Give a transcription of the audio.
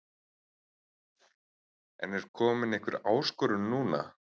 En er komin einhver áskorun núna?